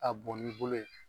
A bɔn n'i bolo ye